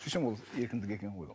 сөйтсем ол еркіндік екен ғой ол